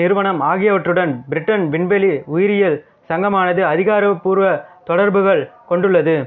நிறுவனம் ஆகியவற்றுடன் பிரிட்டன் விண்வெளி உயிரியல் சங்கமானது அதிகாரப்பூர்வ தொடர்புகள் கொண்டுள்ளது